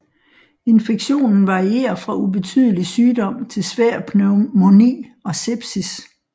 Infektionen varierer fra ubetydelig sygdom til svær pneumoni og sepsis